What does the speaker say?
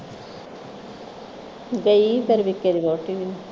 ਗਈ ਫਿਰ ਵਿੱਕੀ ਦੀ ਵਹੁਟੀ ਵੀ